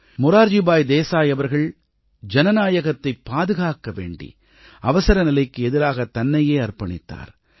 மொரார்ஜி பாய் தேசாய் அவர்கள் ஜனநாயகத்தின் பாதுகாக்க வேண்டி அவசரநிலைக்கு எதிராக தன்னையே அர்ப்பணித்தார்